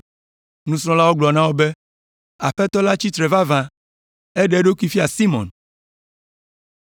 Nusrɔ̃lawo gblɔ na wo be, “Aƒetɔ la tsi tsitre vavã! Eɖe eɖokui fia Simɔn!”